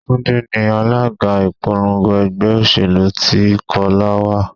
Túndé ni alága ìpolongo ẹgbẹ́ òṣèlú tí Kọ́lá wá.